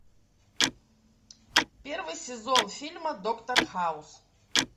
первый сезон фильма доктор хаус